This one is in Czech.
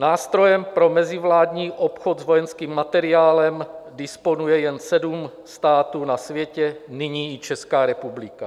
Nástrojem pro mezivládní obchod s vojenským materiálem disponuje jen sedm států na světě, nyní i Česká republika.